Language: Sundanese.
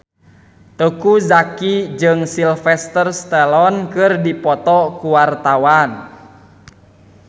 Teuku Zacky jeung Sylvester Stallone keur dipoto ku wartawan